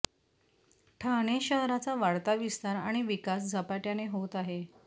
ठाणे शहराचा वाढता विस्तार आणि विकास झपाटय़ाने होत आहे